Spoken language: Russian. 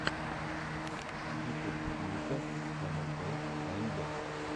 ютуб ника эмэлбэ аэмвэ